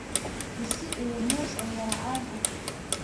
Bisi iyo moos ayaa caan ah.